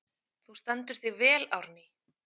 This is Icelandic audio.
Þú stendur þig vel, Árný!